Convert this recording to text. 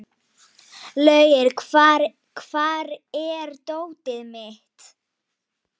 Orri, hvað er jörðin stór?